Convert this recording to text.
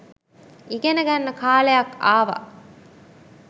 ඉගෙන ගන්න කාලයක් ආවා.